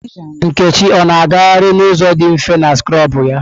Nkechi ọ na-agaharị n'ụzọ dị mfe na skrọbụ ya?